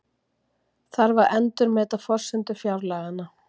Þarf að endurmeta forsendur fjárlaganna